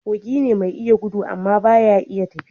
Kogi ne mai iya gudu amma ba ya iya tafiya